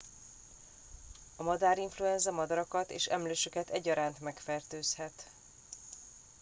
a madárinfluenza madarakat és emlősöket egyaránt megfertőzhet